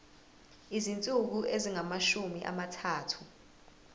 izinsuku ezingamashumi amathathu